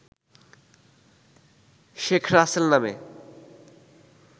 শেখ রাসেল নামে